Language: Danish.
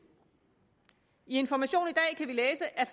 i information i dag kan vi læse at